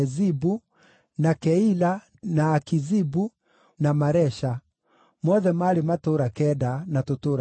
na Keila, na Akizibu, na Maresha; mothe maarĩ matũũra kenda na tũtũũra twamo.